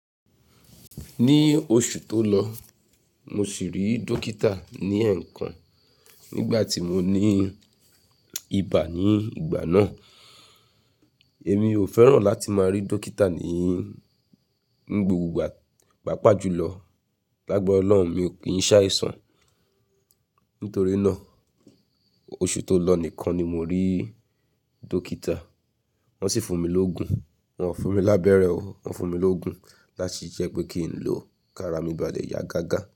Ní oṣù tó lọ, mo sì rí dókítà ní ẹ̀ẹ̀kan nígbà tí mo ní ibà ní ìgbà náà. Èmi ò fẹ́ràn láti máa rí dókítà ní gbogbo ìgbà, pàápàá jùlọ. Lágbára Ọlọ́run, mi ò kín se aisan. Nítorí náà, oṣù tó lọ nìkan ni mo rí dókítà. Wọ́n sì fún mi lóògùn, wọ́n ò fún mi lábẹ́rẹ́ o, wọ́n fún mi lóògùn láti jẹ́ pé kí n lo kí ara mi ba lẹ̀ ya gágá.